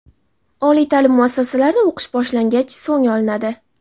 oliy ta’lim muassasalarida o‘qish boshlangach so‘ng olinadi.